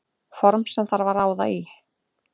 Form sem þarf að ráða í.